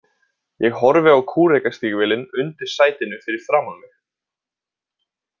Ég horfi á kúrekastígvélin undir sætinu fyrir framan mig.